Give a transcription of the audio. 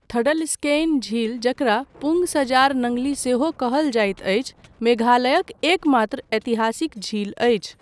थडलस्केइन झील जकरा पुंग सजार नंगली सेहो कहल जाइत अछि मेघालयक एकमात्र ऐतिहासिक झील अछि।